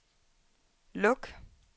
luk